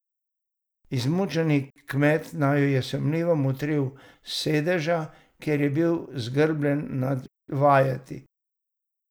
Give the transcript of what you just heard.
Izmučen kmet naju je sumljivo motril s sedeža, kjer je bil zgrbljen nad vajeti.